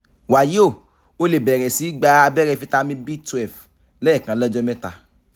wàyí o o lè bẹ̀rẹ̀ sí í gba abẹ́rẹ́ fítámì b twelve lẹ́ẹ̀kan lọ́jọ́ mẹ́ta